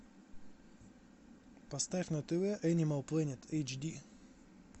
поставь на тв энимал планет эйч ди